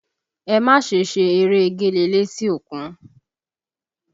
Ẹ má ṣe ṣe eré egéle létí òkun!